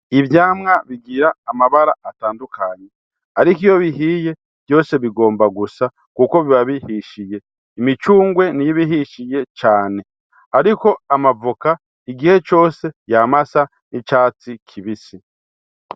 Ivyamwa bigira amabara atandukanye. Ariko iyo bihiye, vyose bigomba gusa kuko biba bihishiye. Imicungwe niyo ibihishije cane. Ariko amavoka igihe cose yama asa n’icatsi kibisi.